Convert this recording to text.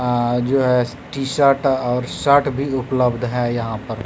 अह जो है T shirt और शर्ट भी उपलब्ध है यहां पर।